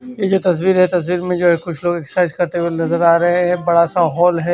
ये जो तस्वीर है तस्वीर में जो ये कुछ लोग एक्सरसाइज करते हुए नजर आ रहे हैं एक बड़ा सा हॉल है।